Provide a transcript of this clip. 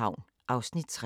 DR1